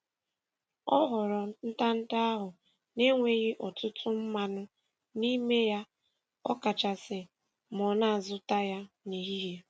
Ọ họrọ ntanta ahụ na - enweghị ọtụtụ mmanụ n'ime ya ọ kachasị ma ọ na-azụta ya n'ehihie